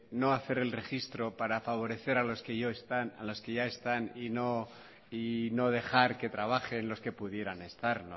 no hacer el registro para favorecer a los que ya están y no dejar que trabajen los que pudieran estar